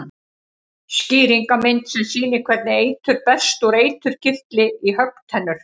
Skýringarmynd sem sýnir hvernig eitur berst úr eiturkirtli í höggtennur.